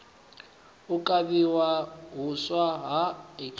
u kavhiwa huswa ha hiv